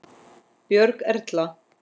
Björg Erla.